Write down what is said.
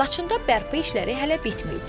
Laçında bərpa işləri hələ bitməyib.